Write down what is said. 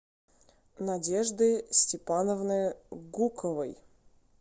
надежды степановны гуковой